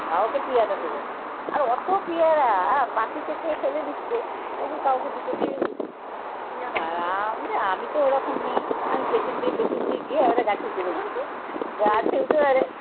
কাওকে পিয়ারাটা দেবে না। আর অত পেয়ারা পাখিতে খেয়ে ফেলে দিচ্ছে তবু কাউকে দুটো দেবে না। আমি তো ওরকম মেয়ে আমি পেছন দিয়ে পেছন দিয়ে গিয়ে ওরা গাছে উঠে পড়ি গাছে উঠে তারপরে